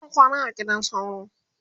zan kwana a gidan sauro